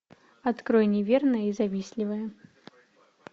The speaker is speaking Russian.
открой неверная и завистливая